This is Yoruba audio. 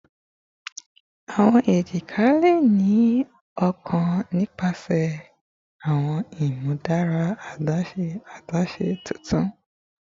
Awọn ejika le ni okun nipasẹ awọn imudara adaṣe adaṣe tuntun